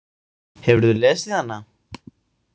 Hefurðu lesið hana?